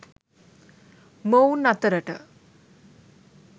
මොවුන් අතරට